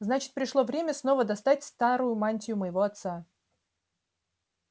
значит пришло время снова достать старую мантию моего отца